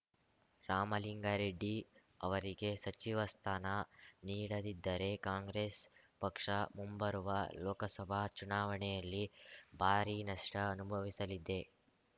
ರಾಮಲಿಂಗಾರೆಡ್ಡಿ ಅವರಿಗೆ ಸಚಿವ ಸ್ಥಾನ ನೀಡದಿದ್ದರೆ ಕಾಂಗ್ರೆಸ್‌ ಪಕ್ಷ ಮುಂಬರುವ ಲೋಕಸಭಾ ಚುನಾವಣೆಯಲ್ಲಿ ಭಾರೀ ನಷ್ಟಅನುಭವಿಸಲಿದೆ